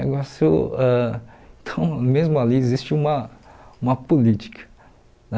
Negócio ãh então mesmo ali existe uma uma política, né?